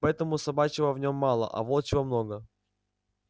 поэтому собачьего в нем мало а волчьего много